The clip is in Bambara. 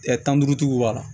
tan ni duuru tigiw b'a la